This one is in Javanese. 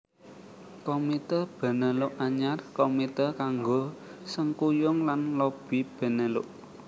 Komité Benelux Anyar Komité kanggo sengkuyung lan lobi Benelux